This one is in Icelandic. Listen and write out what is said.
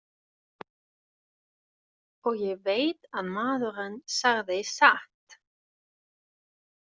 Og ég veit að maðurinn sagði satt.